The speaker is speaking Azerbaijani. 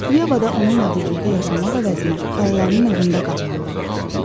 Yeva onunla birlikdə yaşamaq əvəzinə xalalarının evində qalmalı olur.